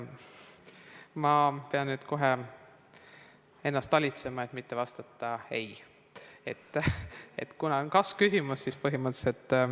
Ma pean nüüd ennast talitsema, et mitte vastata eitavalt, kuna oli kas-küsimus.